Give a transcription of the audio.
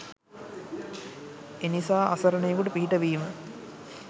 එනිසා අසරණයෙකුට පිහිටවීම